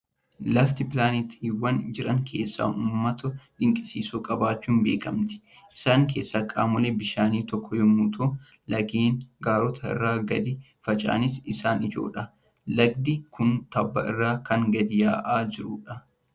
Lafti pilaanetiiwwan jiran keessaa uumamoota dinqisiisoo qabaachuun beekamti! Isaan keessaa qaamoleen bishaanii tokko yommuu ta'u, laggeen gaarota irraa gadi fincaa'an isaan ijoodha. Lagdi kun tabba irraa kan gadi yaa'aa jirudha.